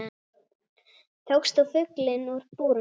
Tókst þú fuglinn úr búrinu?